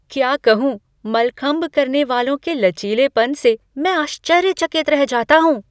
क्या कहूँ, मलखंब करने वालों के लचीलेपन से मैं आश्चर्यचकित रह जाता हूँ!